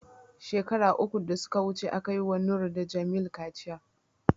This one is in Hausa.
shekara uku da suka wuce, aka yi ma Noor da Jamil kaciya.